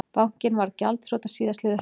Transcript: Bankinn varð gjaldþrota síðastliðið haust